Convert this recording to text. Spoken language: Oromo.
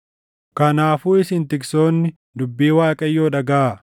“ ‘Kanaafuu isin tiksoonni, dubbii Waaqayyoo dhagaʼaa: